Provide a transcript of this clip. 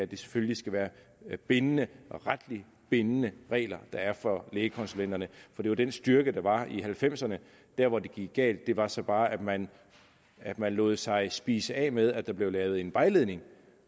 det selvfølgelig skal være retligt bindende retligt bindende regler der er for lægekonsulenterne for det var den styrke der var i nitten halvfemserne der hvor det gik galt var så bare at man at man lod sig spise af med at der blev lavet en vejledning